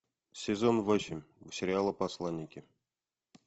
сезон восемь сериала посланники